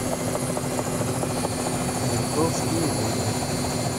ментовские войны